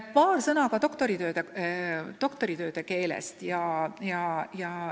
Paar sõna ka doktoritööde keelest.